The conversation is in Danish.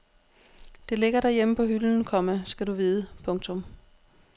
Det ligger derhjemme på hylden, komma skal du vide. punktum